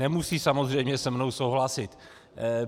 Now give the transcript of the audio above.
Nemusí samozřejmě se mnou souhlasit.